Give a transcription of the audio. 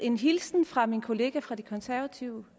en hilsen fra min kollega fra det konservative